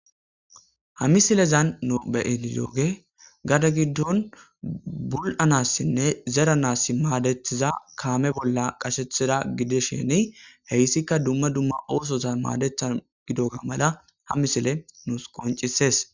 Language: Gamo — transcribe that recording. Ha misilezan nu beyenidooge gada giddon bul'anassinne zeranassi maadethiza kaame bolla qashethida gidesheni heyssikka dumma dumma oosozan maadetha gidoga mala ha misile nus qoncisees.